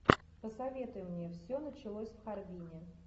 посоветуй мне все началось в харбине